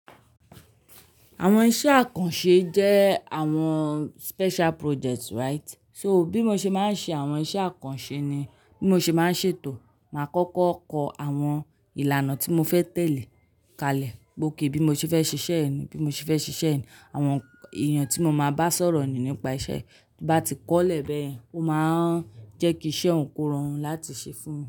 Àwọn iṣẹ́ àkànṣe jẹ́ àwọn special projects, right? So bí mo ṣe máa ń ṣe àwọn iṣẹ́ àkànṣe ni bí mo ṣe máa ń ṣètò, màá kọ́kọ́ kọ àwọn ìlànà tí mo fẹ́ tẹ̀lé kalẹ̀. Gbé ó ké bí mo ṣe fẹ́ ṣiṣẹ́ ẹ ni, bí mo ṣe fẹ́ ṣiṣẹ́ ẹ ni, àwọn èèyàn tí mo máa bá sọ̀rọ̀ ni nípa iṣẹ́. Bí bá ti kọ́lẹ̀ bẹ́ẹ̀, ó máa ń jẹ́ kí iṣẹ́ òun kó rọrùn láti ṣe fún un.